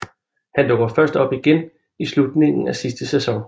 Han dukker først op igen i slutningen af sidste sæson